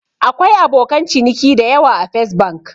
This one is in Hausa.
Akwai abokan ciniki dayawa a Fes Bank